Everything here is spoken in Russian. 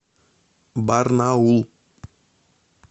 барнаул